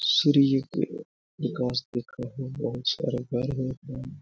Surilipur because बहुत सारा घर है।